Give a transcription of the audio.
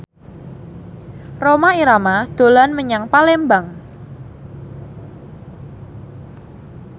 Rhoma Irama dolan menyang Palembang